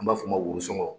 An b'a f'o ma woson